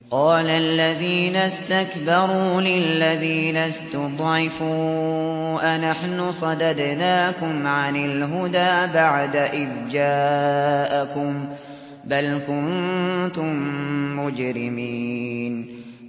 قَالَ الَّذِينَ اسْتَكْبَرُوا لِلَّذِينَ اسْتُضْعِفُوا أَنَحْنُ صَدَدْنَاكُمْ عَنِ الْهُدَىٰ بَعْدَ إِذْ جَاءَكُم ۖ بَلْ كُنتُم مُّجْرِمِينَ